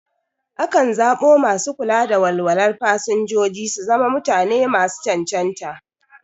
Akan zaɓo masu kula da walwalar fasinjoji su zama mutane masu cancanta.